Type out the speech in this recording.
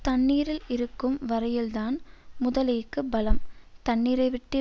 தண்ணீரில் இருக்கும் வரையில்தான் முதலைக்கு பலம் தண்ணீரைவிட்டு